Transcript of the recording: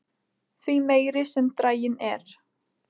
því meiri sem draginn er